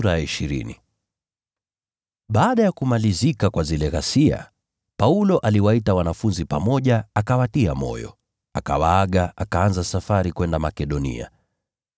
Baada ya zile ghasia kumalizika, Paulo aliwaita wanafunzi pamoja akawatia moyo, akawaaga, akaanza safari kwenda Makedonia.